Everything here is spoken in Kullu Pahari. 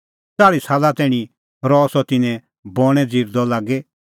च़ाल़्ही साला तैणीं रह सह तिन्नें बणैं ज़िरदअ लागी